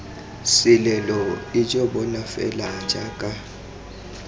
selelo ijo bona fela jaaka